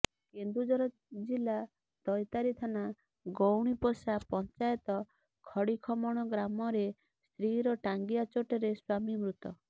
କେନ୍ଦୁଝର ଜିଲ୍ଲା ଦୈତାରୀ ଥାନା ଗୋଉଣିପୋଷା ପଞ୍ଚାୟତ ଖଡ଼ିଖମଣ ଗ୍ରାମରେ ସ୍ତ୍ରୀର ଟାଙ୍ଗିଆ ଚୋଟରେ ସ୍ୱାମୀ ମୃତ